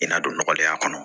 I n'a don nɔgɔlenya kɔnɔ